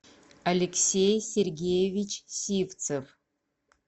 алексей сергеевич сивцев